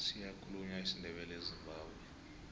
siyakhulunywa isindebele ezimbabwe